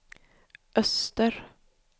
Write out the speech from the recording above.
öster